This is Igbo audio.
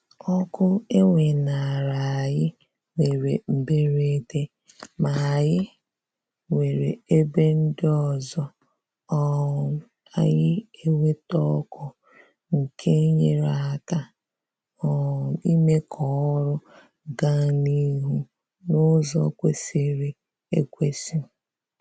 Ọkụ e weenara anyị mere mberede ma anyị nwere ebe ndị ọzọ um anyị enweta ọkụ nke nyere aka um ime k'ọrụ gaa n'ihu n'ụzọ kwesịrị ekwesị